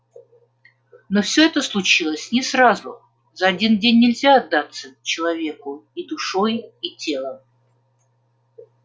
но всё это случилось не сразу за один день нельзя отдаться человеку и душой и телом